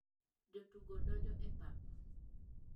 Jo tugo donjo e pap.